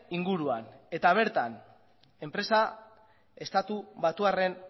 inguruan eta bertan enpresa estatu batuarren